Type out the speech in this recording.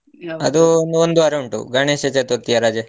ಅದು ಒಂದು ಒಂದು ವಾರ ಉಂಟು ಗಣೇಶ ಚತುರ್ಥಿ ಯ ರಜೆ.